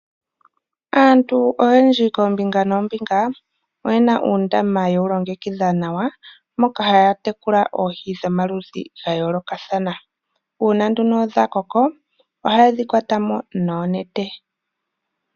Aantu oyendji koombinga noombinga oye na uundama ye wu longekidha nawa, moka ha ya tekula oohi dhomaludhi dha yoolokathana. Uuna nduno dha koko ohaye dhi kwatamo noonete.